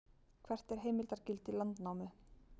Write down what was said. hvert er heimildargildi landnámu